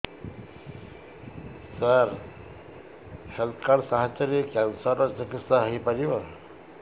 ସାର health card ସାହାଯ୍ୟରେ cancer ର ଚିକିତ୍ସା ହେଇପାରିବ